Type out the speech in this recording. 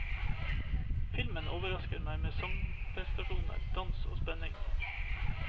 Filmen overrasker med sangprestasjoner, dans og spenning.